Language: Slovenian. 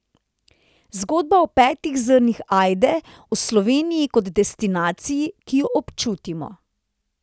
Zgodba o petih zrnih ajde, o Sloveniji kot destinaciji, ki jo občutimo.